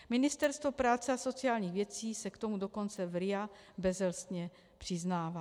Ministerstvo práce a sociálních věcí se k tomu dokonce v RIA bezelstně přiznává.